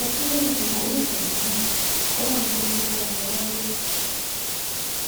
ọdún méjì ti gorí ìṣẹlẹ náà kọlọrun tóó dẹṣẹ wọn ládé